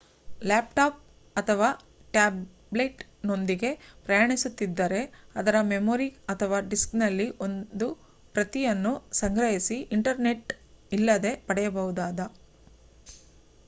laptop ಅಥವಾ ಟ್ಯಾಬ್ಲೆಟ್‌ನೊಂದಿಗೆ ಪ್ರಯಾಣಿಸುತ್ತಿದ್ದರೆ ಅದರ ಮೆಮೊರಿ ಅಥವಾ ಡಿಸ್ಕ್‌ನಲ್ಲಿ ಒಂದು ಪ್ರತಿಯನ್ನು ಸಂಗ್ರಹಿಸಿ ಇಂಟರ್ನೆಟ್‌ ಇಲ್ಲದೇ ಪಡೆಯಬಹುದಾದ